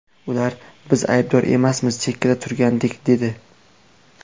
Ular ‘biz aybdor emasmiz, chekkada turgandik’, dedi.